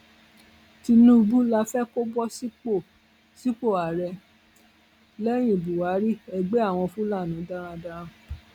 tinubu la fẹ kó bọ sípò sípò ààrẹ lẹyìn buhari ẹgbẹ àwọn fúlàní darandaran